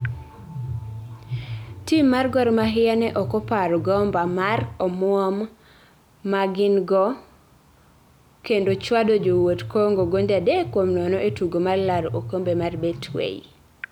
tim mar Gor mahia ne okoparo gomba mar omuom ma gin go kendo chwado Jowuot Congo gonde adek kuom nono e tugo mar laro okombe mar Betway